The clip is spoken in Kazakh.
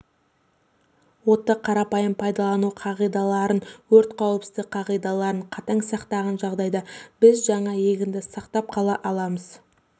отты қарапайым пайдалану қағидаларын өрт қауіпсіздік қағидаларын қатаң сақтаған жағдайда біз жаңа егінді сақтап қала аламыз